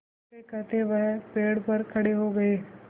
कहतेकहते वह पेड़ पर खड़े हो गए